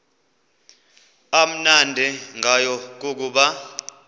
amnandi ngayo kukuba